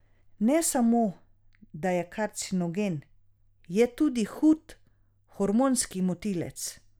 Ne samo da je karcinogen, je tudi hud hormonski motilec.